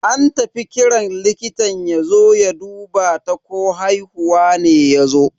An tafi kiran likitan yazo ya duba ta ko haihuwa ne yazo.